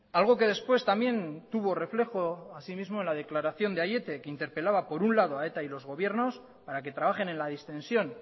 algo que después también tuvo reflejo asimismo en la declaración de aiete que interpelaba por un lado a eta y los gobiernos para que trabajen en la distensión